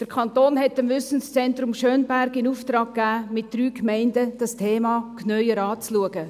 Der Kanton hat dem Wissenszentrum Schönberg den Auftrag gegeben, dieses Thema mit drei Gemeinden genauer anzuschauen.